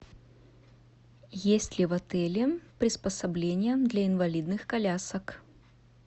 есть ли в отеле приспособление для инвалидных колясок